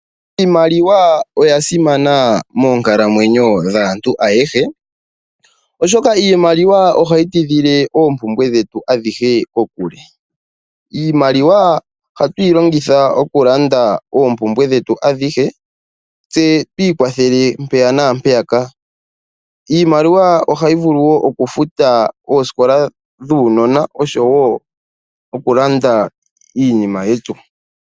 Iimaliwa oya simana moonkalamwenyo dhaantu ayehe, oshoka iimaliwa ohayi ti dhile oompumbwe dhetu adhihe kokule. Iimaliwa ohatu yi longitha okulanda oompumbwe dhetu adhihe, tse twi kwathele mpeya naampeyaka. Iimaliwa ohayi vulu woo okufuta oosikola dhuunona osho woo okulanda iinima yetu.